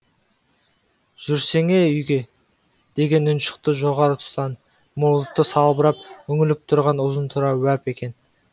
жүрсеңе үйге деген үн шықты жоғары тұстан мұрты салбырап үңіліп тұрған ұзынтұра уәп екен